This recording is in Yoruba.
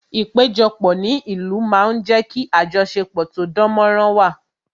Ìpéjọpọ̀ ní ìlú máa ń jé kí ajosepo tó dán mó rán wà